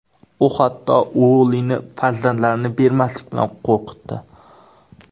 U hatto Uollini farzandlarni bermaslik bilan qo‘rqitdi.